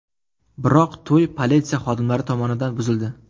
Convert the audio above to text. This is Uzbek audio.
Biroq to‘y politsiya xodimlari tomonidan buzildi .